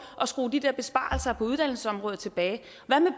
at skrue de der besparelser på uddannelsesområdet tilbage